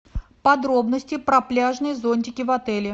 подробности про пляжные зонтики в отеле